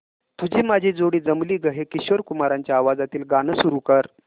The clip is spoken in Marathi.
तुझी माझी जोडी जमली गं हे किशोर कुमारांच्या आवाजातील गाणं सुरू कर